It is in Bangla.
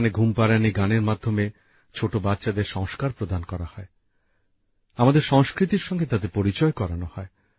ঘুমপাড়ানি গানের মাধ্যমে ছোট বাচ্চাদের সংস্কার সম্পর্কে ধারণা দেওয়া হয় আমাদের সংস্কৃতির সঙ্গে তাদের পরিচয় করানো হয়